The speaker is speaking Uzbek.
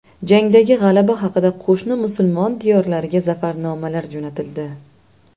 Jangdagi g‘alaba haqida qo‘shni musulmon diyorlariga zafarnomalar jo‘natildi.